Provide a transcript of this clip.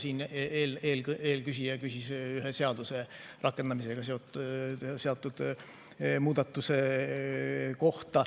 Siin eelküsija küsis ühe seaduse rakendamisega seotud muudatuse kohta.